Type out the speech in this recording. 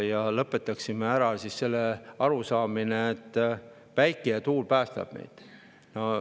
Ehk lõpetaksime ära selle arusaamise, et päike ja tuul päästavad meid.